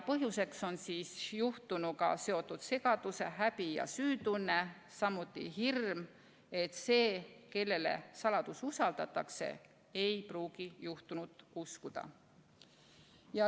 Põhjuseks on juhtunuga seotud segadus-, häbi- ja süütunne, samuti hirm, et see, kellele saladus usaldatakse, ei pruugi juhtunut uskuda.